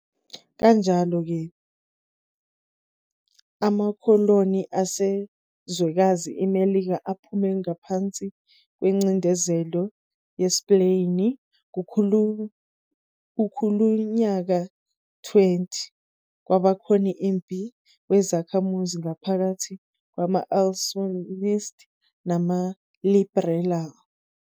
Kanjalo ke, amakoloni aseZwekazi iMelika aphume ngapansi kwencindezelo yeSpeyini. kuKhulunyaka 20, kwabakhoni impi wezakhamuzi ngaphakathi kwama-Absolutist namaLiberal.